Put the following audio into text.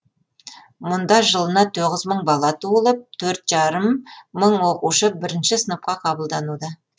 мұнда жылына тоғыз мың бала туылып төрт жарым мың оқушы бірінші сыныпқа қабылдануда